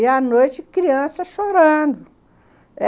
E à noite, criança chorando.